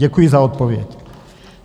Děkuji za odpověď.